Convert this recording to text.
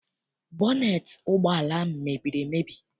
Bọneet ụgbọala ahụ mebiri emebi.